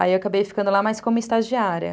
Aí eu acabei ficando lá mais como estagiária.